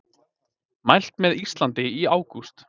Mælt með Íslandi í ágúst